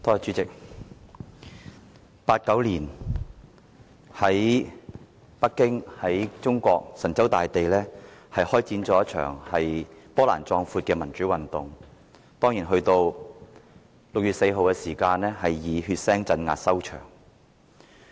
在1989年，中國神州大地開展了一場波瀾壯闊的民主運動，到了6月4日，以血腥鎮壓收場。